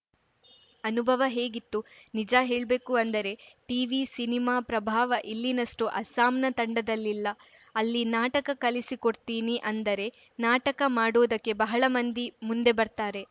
ಅನುಭವ ಹೇಗಿತ್ತು ನಿಜ ಹೇಳ್ಬೇಕು ಅಂದರೆ ಟಿವಿ ಸಿನಿಮಾ ಪ್ರಭಾವ ಇಲ್ಲಿನಷ್ಟುಅಸ್ಸಾಮ್‌ನ ತಂಡದಲ್ಲಿಲ್ಲ ಅಲ್ಲಿ ನಾಟಕ ಕಲಿಸಿಕೊಡ್ತೀನಿ ಅಂದರೆ ನಾಟಕ ಮಾಡೋದಕ್ಕೆ ಬಹಳ ಮಂದಿ ಮುಂದೆ ಬರ್ತಾರೆ